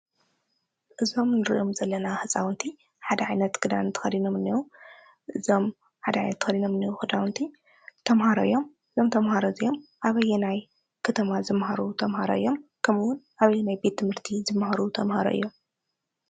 እዞም እንሪኦም ዘለና ህፃውንቲ ሓደ ዓይነት ክዳን ተኸዲኖም እኒሀው፡፡ እዞም ሓደ ዓይነት ተኸዲኖም ክዳውንቲ ዝኒህው ህፃውንቲ ተምሃሮ እዮም። እዞም ተምሃሮ እዚኦም ኣበየናይ ከተማ ዝመሃሩ ተምሃሮ እዮም? ኣበየናይ ቤት ትምህርቲ ዝመሃሩ ተምሃሮ እዮም?